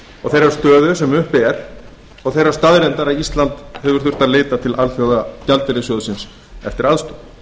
og þeirrar stöðu sem uppi er og þeirrar staðreyndar að ísland hefur þurft að leita til alþjóðagjaldeyrissjóðsins eftir aðstoð